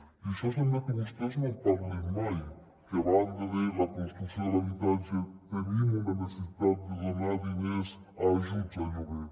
i d’això sembla que vostès no en parlin mai que a banda de la construcció de l’habitatge tenim una necessitat de donar diners a ajuts al lloguer